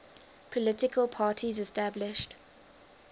political parties established